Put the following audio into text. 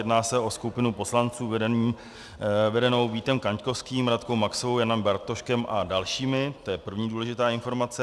Jedná se o skupinu poslanců vedenou Vítem Kaňkovským, Radkou Maxovou, Janem Bartoškem a dalšími, to je první důležitá informace.